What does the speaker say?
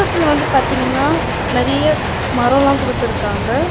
பக்கத்துல வந்து பாத்தீங்கனா நிறைய மரோலா குடுத்துருக்காங்க.